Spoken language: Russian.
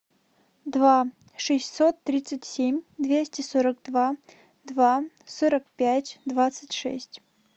два шестьсот тридцать семь двести сорок два два сорок пять двадцать шесть